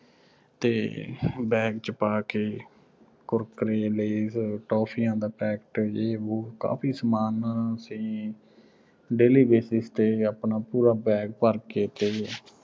ਤੇ bag ਚ ਪਾ ਕੇ Kurkere, Lays, toffees ਦਾ packet ਜੇ ਵੋ, ਕਾਫ਼ੀ ਸਾਮਾਨ ਅਸੀਂ daily basis ਤੇ ਆਪਣਾ ਪੂਰਾ bag ਭਰ ਕੇ ਤੇ